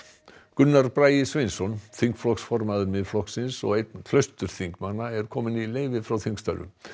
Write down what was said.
Gunnar Bragi Sveinsson þingflokksformaður Miðflokksins og einn er kominn í leyfi frá þingstörfum